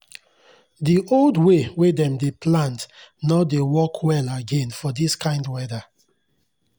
the old way wey dem dey plant nor dey work well again for this kind weather